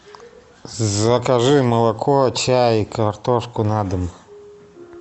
закажи молоко чай картошку на дом